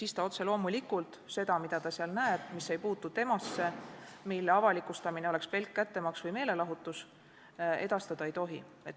siis otse loomulikult seda, mida ta seal näeb, aga mis ei puutu temasse ja mille avalikustamine oleks pelk kättemaks või meelelahutus, ta edastada ei tohi.